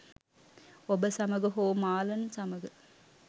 ඔබ සමඟ හෝ මාලන් සමඟ.